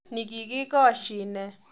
Nikikikoshine.